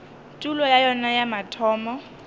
tulo ya yona ya mathomo